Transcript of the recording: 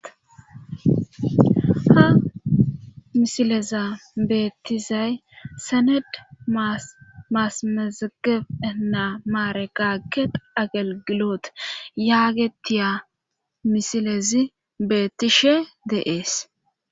Ha misileza beettizay sened maasamezegefena maare kagge agelgiloot yaagetiya misilezi beettishe deees.